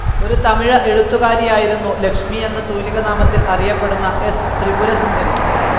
ഒരു തമിഴ് എഴുത്തുകാരിയായിരുന്നു ലക്ഷ്മി എന്ന തൂലികാനാമത്തിൽ അറിയപ്പെടുന്ന എസ്. ത്രിപുരസുന്ദരി.